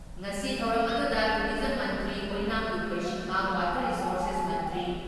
ꯉꯁꯤ ꯊꯧꯔꯝ ꯑꯗꯨꯗ ꯇꯨꯔꯤꯖꯝ ꯃꯟꯇ꯭ꯔꯤ ꯑꯣꯏꯅꯥꯝ ꯂꯨꯈꯣꯏ ꯁꯤꯡꯍ, ꯋꯥꯇꯔ ꯔꯤꯁꯣꯔꯁꯦꯁ ꯃꯟꯇ꯭ꯔꯤ